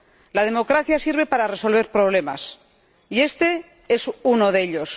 La democracia sirve para resolver problemas, y este es uno de ellos.